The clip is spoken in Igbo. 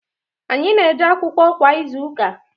anyị na-eje akwụkwọ kwa izuụka.